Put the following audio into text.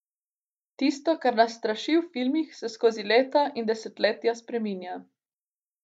Tisto, kar nas straši v filmih, se skozi leta in desetletja spreminja.